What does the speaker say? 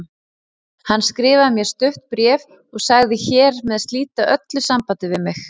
Hann skrifaði mér stutt bréf og sagðist hér með slíta öllu sambandi við mig.